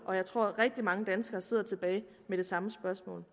og jeg tror at rigtig mange danskere sidder tilbage med det samme spørgsmål